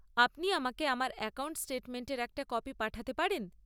আপনি আমাকে আমার অ্যাকাউন্ট স্টেটমেন্টের একটা কপি পাঠাতে পারেন?